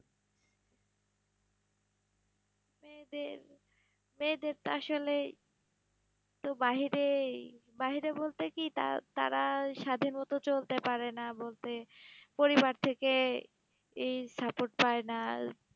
মেয়েদের মেয়েদের তো আসলেই তো বাহিরেই, বাহিরে বলতে কি, তা- তারা স্বাধীন মতো চলতে পারে না বলতে, পরিবার থেকে, এই support পায় না,